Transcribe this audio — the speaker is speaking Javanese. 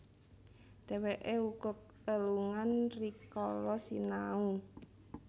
Dhèwèké uga lelungan rikala sinau